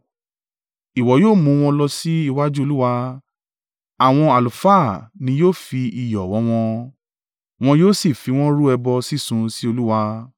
Ìwọ yóò mú wọn lọ sí iwájú Olúwa, àwọn àlùfáà ni yóò fi iyọ̀ wọ́n wọn, wọn yóò sì fi wọ́n rú ẹbọ sísun sí Olúwa.